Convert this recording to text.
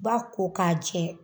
Ba ko k'a jɛ